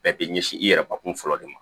Bɛɛ bɛ ɲɛsin i yɛrɛ bakun fɔlɔ de ma